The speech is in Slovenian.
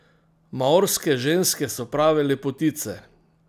Maorske ženske so prave lepotice.